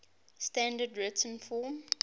standard written form